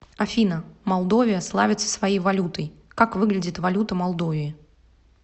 афина молдовия славится своей валютой как выглядит валюта молдовии